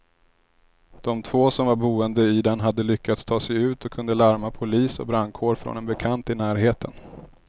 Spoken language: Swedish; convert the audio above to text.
De två som var boende i den hade lyckats ta sig ut och kunde larma polis och brandkår från en bekant i närheten.